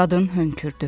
Qadın hönkürdü.